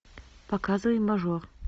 показывай мажор